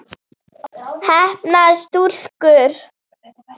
Heppnar stúlkur?